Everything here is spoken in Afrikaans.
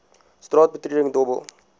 straat betreding dobbel